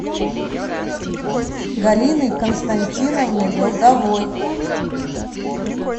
галиной константиновной долговой